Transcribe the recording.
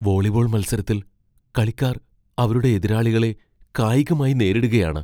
Volleyball മത്സരത്തിൽ കളിക്കാർ അവരുടെ എതിരാളികളെ കായികമായി നേരിടുകയാണ്.